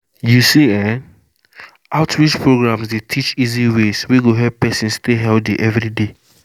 you see[um]outreach programs dey teach easy ways wey go help person stay healthy every day